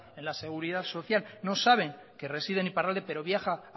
en la seguridad social no saben que reside en iparralde pero viaja